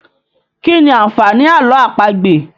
Kí ni àǹfààní àlọ́ àpagbè?